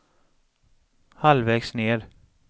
halvvägs ned